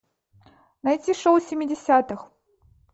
найти шоу семидесятых